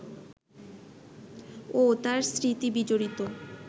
ও তার স্মৃতিবিজড়িত